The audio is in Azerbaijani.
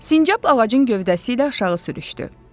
Sincab ağacın gövdəsi ilə aşağı sürüşdü.